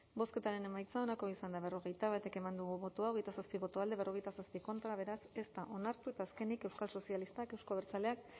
bozketaren emaitza onako izan da hirurogeita hamalau eman dugu bozka hogeita zazpi boto alde cuarenta y siete contra beraz ez da onartu eta azkenik euskal sozialistak euzko abertzaleak